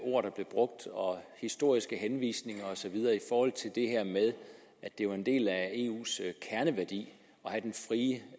ord der blev brugt og historiske henvisninger og så videre i forhold til det her med at det jo er en del af eus kerneværdi